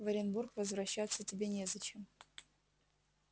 в оренбург возвращаться тебе незачем